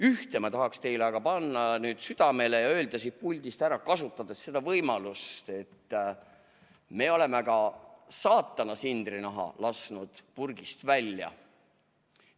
Ühte ma tahaksin teile aga panna südamele ja öelda siit puldist ära, kasutades seda võimalust, et me oleme saatana sindrinaha purgist välja lasknud.